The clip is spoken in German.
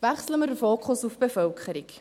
Wechseln wir den Fokus auf die Bevölkerung.